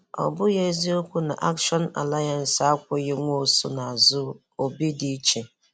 Ọ bụghị eziokwu na Action Alliance akwụghị Nwosu n'azụ - Obidiche